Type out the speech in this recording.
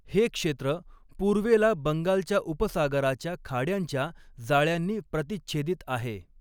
हे क्षेत्र पूर्वेला बंगालच्या उपसागराच्या खाड्यांच्या जाळयांनी प्रतिच्छेदित आहे.